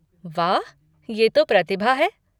वाह, ये तो प्रतिभा है।